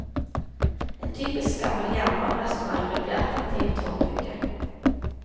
En typisk gammel jernbanerestaurant vil bli attraktiv i tårnbygget.